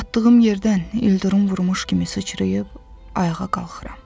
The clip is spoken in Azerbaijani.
Yatdığım yerdən ildırım vurmuş kimi sıçrayıb ayağa qalxıram.